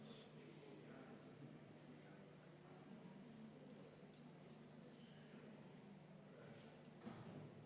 Seda kõike võib ju ka selgitada ja ka mõistlikuks pidada.